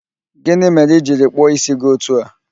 Gịnị mere ị jiri kpụọ ísí gị otu a?